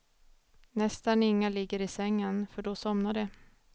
Nästan inga ligger i sängen, för då somnar de.